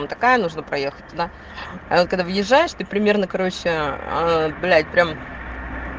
ну такая нужна проехать туда она когда въезжаешь ты примерно короче блять прям